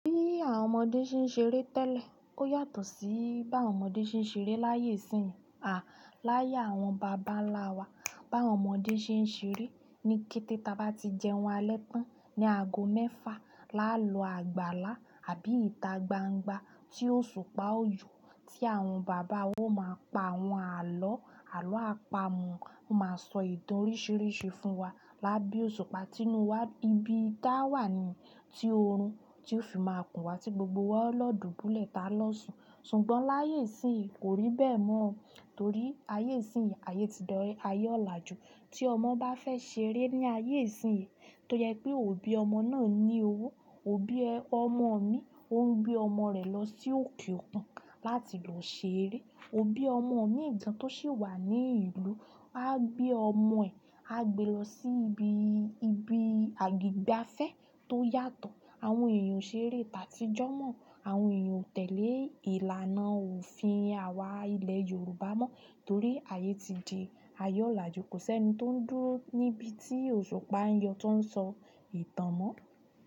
Bí àwọn ọmọdé ṣe ń ṣeré tẹ́lẹ̀ ò yàtọ̀ sí bí àwọn ọmọdé ṣe ń ṣeré láyé ìsín à láyé àwọn bàbá ńlá wa. Bí àwọn ọmọdé ṣe ń ṣeré ni kété táa bá ti jẹun alẹ́ tán ní ago mẹ́fa, là á lọ àgbàlá àbí ìta gbangba tí òṣùpá ó yọ, tí àwọn bàbá ó máa pa àwọn àlọ́, àlọ́ àpamọ̀ máa sọ ìtàn oríṣiríṣi fún wa lábẹ́ òṣùpá tí inú wa bíbí dá wà ní ti oorun tí ó fi máa kùn wá tí gbogbo wa lọ́dùú dúlẹ̀ ta lọ́ṣù. Ṣùgbọ́n láyé ìsín kò rí bẹ́ẹ̀ mọ́, torí ayé ìsín yìí, ayé ti dọ́re, ayé ọ̀làjú. Tí ọmọ bá fẹ́ ṣeré ní ayé ìsín yìí, tó yẹ pé òbí ọmọ náà ní owó. Òbí ọmọ mi ò ń gbé ọmọ rẹ̀ lọ sí òkè òkun láti lọ ṣeré. Òbí ọmọ mi ìdán tó sì wà ní ìlú á gbé ọmọ ẹ̀ á gbe lọ sí ibi, ibi àgbègbè afẹ́ tó yàtọ̀. Àwọn èèyàn ṣeré tàtí jọ́ mọ́, àwọn èèyàn ò tẹ̀lé ìlànà òfin àwa ilẹ̀ Yorùbá mọ́ torí ayé ti di ayé ọ̀làjú. Kò sí ẹni tó ń dúró níbi tí òṣùpá ń yọ tó ń sọ ìtàn mọ́.